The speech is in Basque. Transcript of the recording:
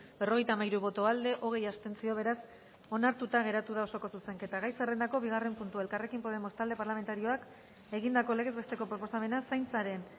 berrogeita hamairu boto aldekoa hogei abstentzio beraz onartuta geratu da osoko zuzenketa gai zerrendako bigarren puntua elkarrekin podemos talde parlamentarioak egindako legez besteko proposamena zaintzaren